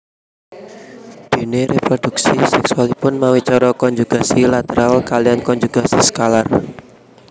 Déné réprodhuksi sèksualipun mawi cara konjugasi lateral kaliyan konjugasi skalar